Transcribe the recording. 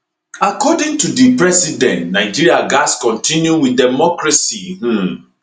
according to di president nigeria gatz continue wit democracy um